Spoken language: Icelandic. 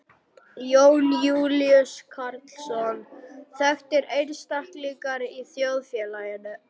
Jón Júlíus Karlsson: Þekktir einstaklingar í þjóðfélaginu?